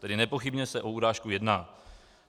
Tedy nepochybně se o urážku jedná.